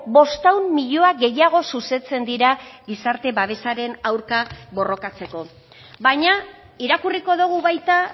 bostehun milioi gehiago zuzentzen dira gizarte babesaren aurka borrokatzeko baina irakurriko dugu baita